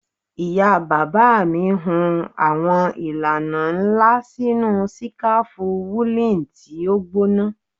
Ìyá bàbá mi hun àwọn ìlànà nla sinu sikafu woolen ti o gbona